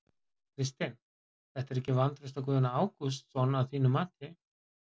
Kristinn: Þetta er ekki vantraust á Guðna Ágústsson að þínu mati?